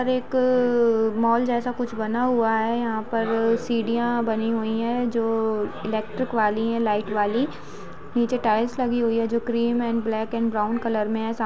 Are एक mall जैसा कुछ बना हुआ है| यहाँ पर सीडिया बनी हुई है जो इलेक्ट्रिक वाली है लाइट वाली| नीचे टाइल्स लगी हुई है जो cream and black and brown colour में है। सा--